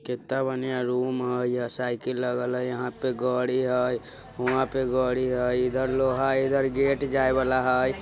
केता बढ़ियां रूम हय अ साइकिल लगल हय यहां पे गोड़ी हय हुँआ पे गड़ी हय इधर लोहा इधर गेट जाय वाला हय।